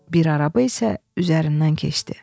Bir araba isə üzərindən keçdi.